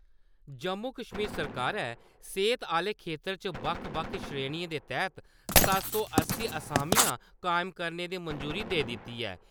जम्मू-कश्मीर सरकारै, सेह्त आह्ले खेत्तर च बक्ख बक्ख श्रेणिएं दे तैह्त सत्त सौ अस्सी असामियां कायम करने दी मंजूरी देई दित्ती ऐ।